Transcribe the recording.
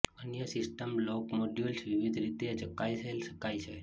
અન્ય system block modules વિવિધ રીતે ચકાસાયેલ શકાય છે